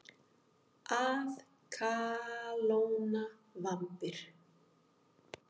Að kalóna vambir.